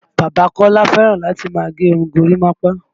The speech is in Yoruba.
Bàbá Kọ́lá fẹ́ràn láti máa gẹ irun gorímapá